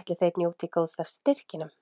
ætli þeir njóti góðs af styrkinum?